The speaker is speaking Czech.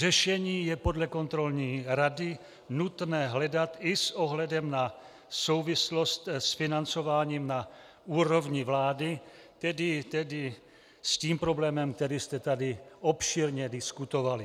Řešení je podle Kontrolní rady nutné hledat i s ohledem na souvislost s financováním na úrovni vlády, tedy s tím problémem, který jste tady obšírně diskutovali.